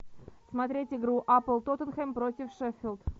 смотреть игру апл тоттенхэм против шеффилд